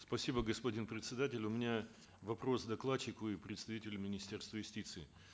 спасибо господин председатель у меня вопрос к докладчику и представителю министерства юстиции